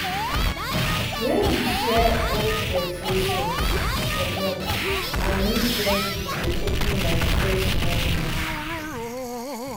when we share old vexations comot and new friendship dey open like fresh morning.